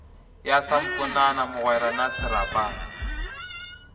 ya samponana mogwera na serapana